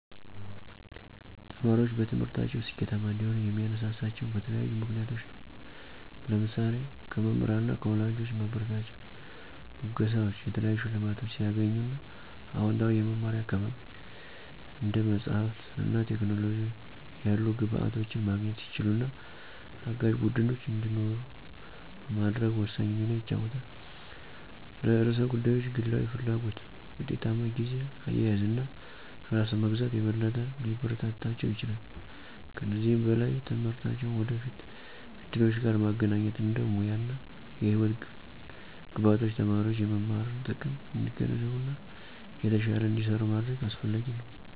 ተማሪዎች በትምህርታቸው ስኬታማ እንዲሆኑ የሚያነሳሳቸው በተለያዩ ምክንያቶች ናቸው። ለምሳሌ:- ከመምህራን እና ከወላጆች ማበረታቻ፣ ሙገሳወች፣ የተለያዩ ሸልማቶች ሲያገኙ እና አወንታዊ የመማሪያ አካባቢ፣ እንደ መጽሐፍት እና ቴክኖሎጂ ያሉ ግብዓቶችን ማግኘት ሲችሉ እና አጋዥ ቡድኖች እንዲኖሩ በማድረግ ወሳኝ ሚና ይጫወታል። ለርዕሰ ጉዳዮች ግላዊ ፍላጎት፣ ውጤታማ ጊዜ አያያዝ እና ራስን መግዛት የበለጠ ሊያበረታታቸው ይችላል። ከዚህም በላይ ትምህርትን ከወደፊት እድሎች ጋር ማገናኘት እንደ ሙያ እና የህይወት ግቦች ተማሪዎች የመማርን ጥቅም እንዲገነዘቡ እና የተሻለ እንዲሰሩ ማድረግ አሰፍላጊ ነው።